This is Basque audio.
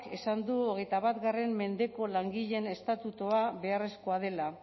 esan du hogeita bat mendeko langileen estatutua beharrezkoa dela